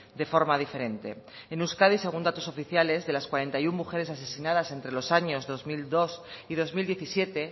de forma diferente en euskadi según datos oficiales de las cuarenta y uno mujeres asesinadas entre los años dos mil dos y dos mil diecisiete